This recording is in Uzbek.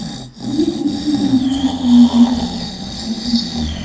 Buni eshitganimdan keyin yanada qattiq ishladim.